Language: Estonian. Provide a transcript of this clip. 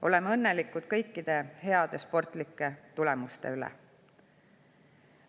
Oleme õnnelikud kõikide heade sportlike tulemuste üle.